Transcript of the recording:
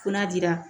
Fo n'a dira